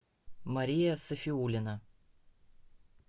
мария сафиулина